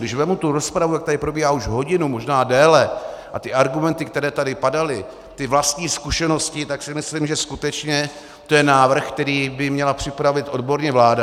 Když vezmu tu rozpravu, jak tady probíhá už hodinu, možná déle, a ty argumenty, které tady padaly, ty vlastní zkušenosti, tak si myslím, že skutečně to je návrh, který by měla připravit odborně vláda.